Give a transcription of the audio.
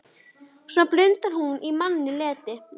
Svona blundar hún í manni letin.